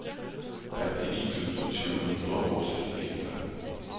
femtini tusen sju hundre og syttifire